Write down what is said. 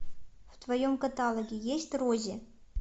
в твоем каталоге есть рози